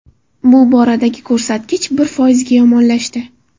Bu boradagi ko‘rsatkich bir foizga yomonlashdi .